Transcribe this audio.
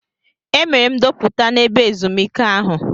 Emere m ndoputa n'ebe ezumike ahụ.